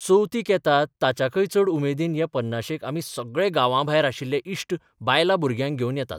चवथीक येतात ताच्याकय चड उमेदीन हे पन्नाशेक आमी सगळे गांवांभायर आशिल्ले इश्ट बायलां भुरग्यांक घेवन येतात.